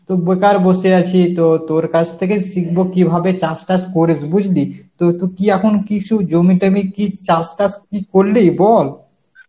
তো বেকার বসে আছি তো তোর কাছ থেকে শিখব কিভাবে চাষ টাস করিস, বুঝলি? কী এখন কিছু জমি টমি কি চাষ টাস কি করলি বল.